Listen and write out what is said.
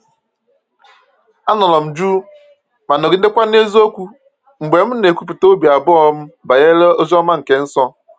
Anọrọ m jụụ ma nọgidekwa na eziokwu mgbe m na-ekwupụta obi abụọ m banyere ozi ọma nke nso.